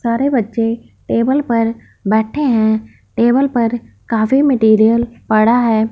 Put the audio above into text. सारे बच्चे टेबल पर बैठे हैं टेबल पर काफी मटेरियल पड़ा है।